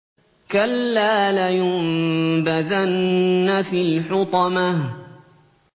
كَلَّا ۖ لَيُنبَذَنَّ فِي الْحُطَمَةِ